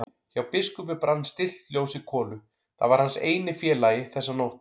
Hjá biskupi brann stillt ljós í kolu, það var hans eini félagi þessa nótt.